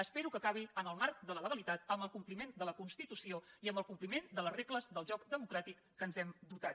espero que acabi en el marc de la legalitat amb el compliment de la constitució i amb el compliment de les regles del joc democràtic de les quals ens hem dotat